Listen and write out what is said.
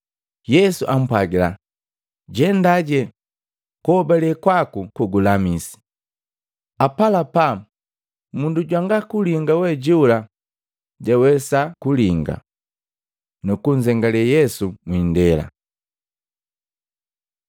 Yesu ampwagila, “Jendaje, kuhobale kwaku kugulamisi.” Apalapa, mundu jwanga kulinga we jola jwawesa nukulinga, nukunzengale Yesu mwiindela.